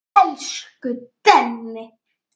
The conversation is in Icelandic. Elsku Denni.